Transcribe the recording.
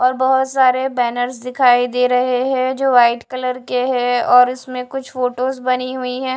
और बहोत सारे बैनर्स दिखाई दे रहे हैं जो वाइट कलर के हैं और इसमें कुछ फोटोज बनी हुई है।